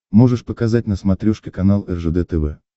можешь показать на смотрешке канал ржд тв